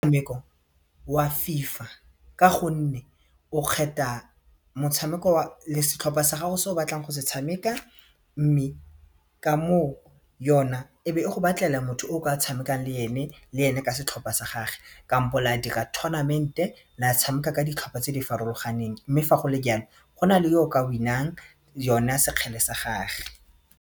wa FIFA ka gonne o kgetha motshameko le setlhopha sa gago se o batlang go se tshameka mme ka moo yona e be e go batlela motho o ka tshamekang le ene le ene ka setlhopha sa gage kampo la dira tournament-e la tshameka ka ditlhopha tse di farologaneng mme fa go le jalo go na le o ka win-ang yona sekgwele sa gage.